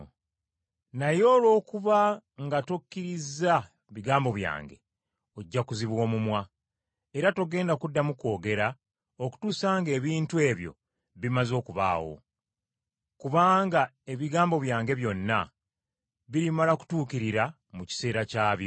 Naye olw’okuba nga tokkirizza bigambo byange, ojja kuziba omumwa, era togenda kuddamu kwogera okutuusa ng’ebintu ebyo bimaze okubaawo. Kubanga ebigambo byange byonna birimala kutuukirira mu kiseera kyabyo.”